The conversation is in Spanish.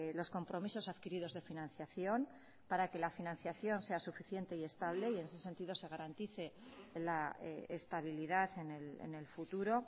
los compromisos adquiridos de financiación para que la financiación sea suficiente y estable y en ese sentido se garantice la estabilidad en el futuro